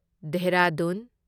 Dehradun